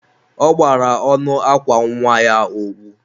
ọ gbara ọnụ akwa nwa ya owu.